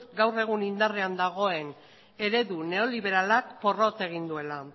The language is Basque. gaur egun indarrean dagoen eredu neoliberalak porrot egin duela